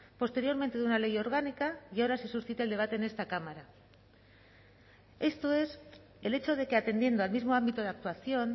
posteriormente de una ley orgánica y ahora se suscite el debate en esta cámara esto es el hecho de que atendiendo al mismo ámbito de actuación